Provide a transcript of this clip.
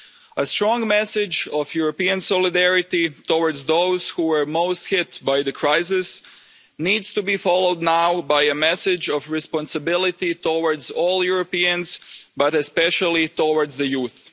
A strong message of European solidarity towards those who are most hit by the crisis needs to be followed now by a message of responsibility towards all Europeans, but especially towards the youth.